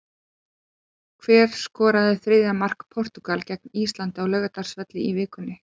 Hver skoraði þriðja mark Portúgal gegn Íslandi á Laugardalsvelli í vikunni?